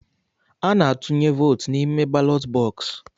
Ana-atụnye vootu n'ime balọt bọksụ̀.